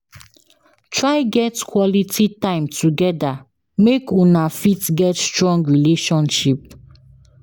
Try get quality time together make Una fit get strong relationship